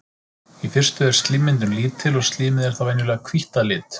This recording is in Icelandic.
Í fyrstu er slímmyndun lítil og slímið er þá venjulega hvítt að lit.